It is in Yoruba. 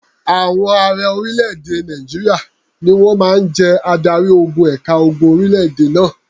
Àwọn ààrẹ orílẹ̀-èdè Nàìjíríà ni wọ́n máa ń jẹ́ adarí-ogun ẹ̀ka ogun orílẹ̀-èdè náà.